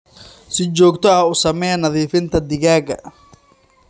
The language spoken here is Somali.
Si joogto ah u samee nadiifinta digaagga.